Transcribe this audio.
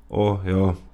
O, ja.